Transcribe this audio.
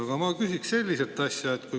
Aga ma küsin sellist asja.